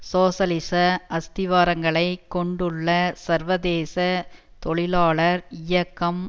சோசலிச அஸ்திவாரங்களை கொண்டுள்ள சர்வதேச தொழிலாளர் இயக்கம்